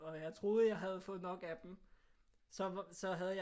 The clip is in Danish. Og jeg troede jeg havde fået nok af dem så havde jeg